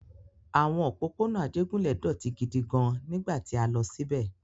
Àwọn òpópónà Ajégúnlẹ̀ dọ̀tí gidi gan-an nígbà tí a lọ síbẹ̀.